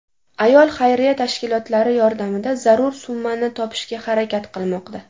Ayol xayriya tashkilotlari yordamida zarur summani topishga harakat qilmoqda.